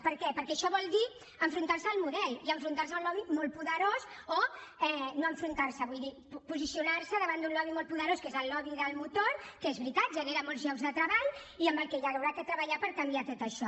per què perquè això vol dir enfrontar se al model i enfrontar se a un lobby molt poderós o no enfrontar se vull dir posicionar se davant d’un lobby molt poderós que és el lobby del motor que és veritat genera molts llocs de treball i amb el qual s’haurà de treballar per canviar tot això